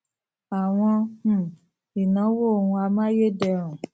àwọn um ìnáwó ohun amayederun